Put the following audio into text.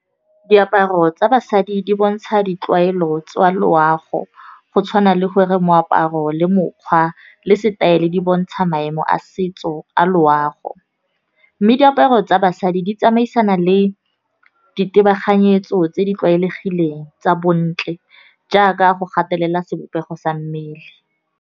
Diaparo tsa basadi di bontsha ditlwaelo tsa loago, go tshwana le gore moaparo le mokgwa le setaele. Di bontsha maemo a setso a loago, mme diaparo tsa basadi di tsamaisana le ditebaganyetso tse di tlwaelegileng, tsa bontle jaaka go gatelela sebopego sa mmele.